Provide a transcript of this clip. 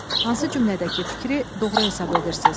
Hansı cümlədəki fikri doğru hesab edirsiz?